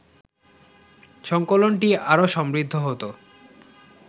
সংকলনটি আরও সমৃদ্ধ হতো